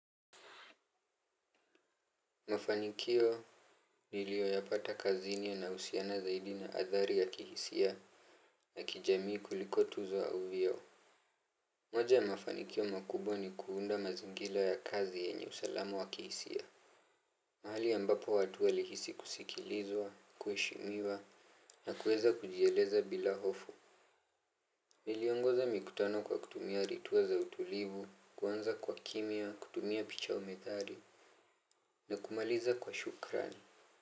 Mafanikio niliyoyapata kazini yanahusiana zaidi na athari ya kihisia na kijamii kuliko tuzo au vioo. Moja ya mafanikio makubwa ni kuunda mazingira ya kazi yenye usalamu wa kihisia. Mahali ambapo watu walihisi kusikilizwa, kuheshimiwa na kuweza kujieleza bila hofu. Niliongoza mikutano kwa kutumia ritua za utulivu, kuanza kwa kimya, kutumia picha au methali na kumaliza kwa shukrani.